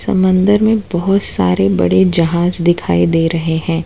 समंदर में बहुत सारे बड़े जहाज दिखाई दे रहे हैं।